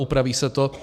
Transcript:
Upraví se to.